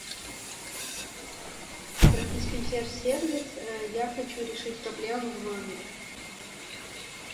обратись в консьерж сервис я хочу решить проблему в номере